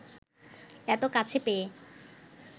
এত কাছে পেয়ে